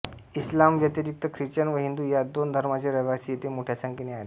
इस्लामव्यतिरिक्त Christian व हिंदू ह्या दोन धर्मांचे रहिवासी येथे मोठ्या संख्येने आहेत